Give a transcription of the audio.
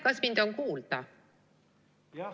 Kas mind on kuulda?